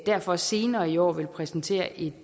derfor senere i år vil præsentere et